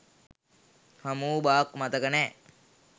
හමු වූ බවක් මතක නෑ.